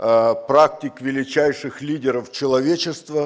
практик величайших лидеров человечества